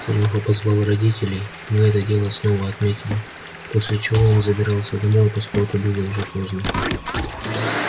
серёга позвал родителей мы это дело снова отметили после чего он забирался домой поскольку было уже поздно